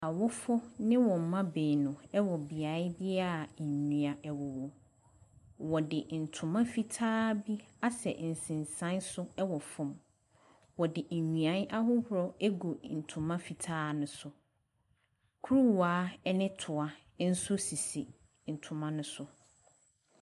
Awofo ne wɔn mma baanu wɔ beae bi a nnua wowɔ. Wɔde ntoma fitaa bi asɛ nsensan so wɔ fam. Wɔde nnua ahorow agu ntoma fitaa no so. Kuruwa ne toa nso sisi ntoma no so.